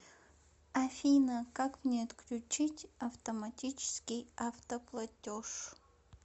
афина как мне отключить автоматический автоплатеж